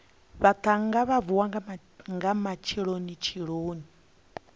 vhaṱhannga vha vuwa nga matshelonitsheloni